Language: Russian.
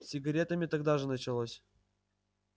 с сигаретами тогда же началось